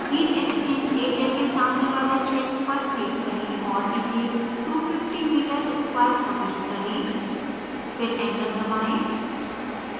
heat exchange area के सामने वाले क्षेत्र पर click करें और इसे 250 meter square प्रविष्ट करें